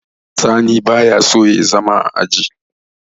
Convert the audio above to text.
sani ba ya son zama a aji